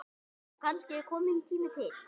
Og kannski kominn tími til.